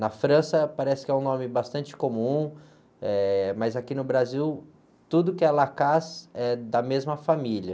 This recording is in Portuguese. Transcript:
Na França, parece que é um nome bastante comum, mas aqui no Brasil, tudo que é, é da mesma família.